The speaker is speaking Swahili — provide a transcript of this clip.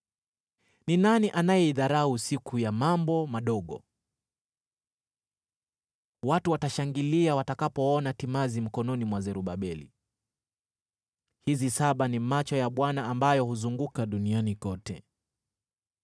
“Ni nani anayeidharau siku ya mambo madogo? Watu watashangilia watakapoona timazi mkononi mwa Zerubabeli. “(Hizi saba ni macho ya Bwana ambayo huzunguka duniani kote.)”